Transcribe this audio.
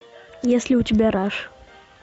есть ли у тебя раш